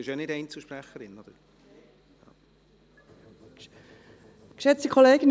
– Sie sind ja nicht Einzelsprecherin?